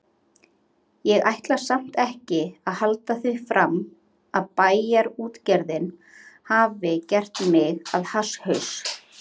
Ég ætla samt ekki að halda því fram að Bæjarútgerðin hafi gert mig að hasshaus.